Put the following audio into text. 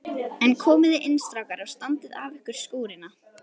En komiði inn strákar og standið af ykkur skúrina.